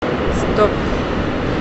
стоп